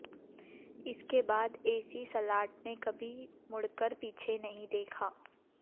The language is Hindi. इसके बाद एसी सलाठ ने कभी मुड़कर पीछे नहीं देखा